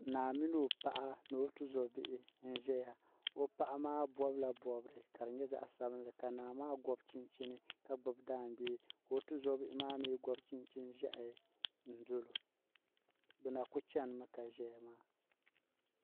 Naa mini o paɣa ni o tuzobihi n ʒɛya o paɣa maa bobila bobri ka di nyɛ zaɣa sabinli ka naa maa gɔbi chinchini ka gbibi daangbee ka o tuzobihi maa mee gɔbi chinchini n doli o bɛ na kuli chenimi ka zaya maa.